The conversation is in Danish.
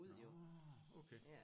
Nårh okay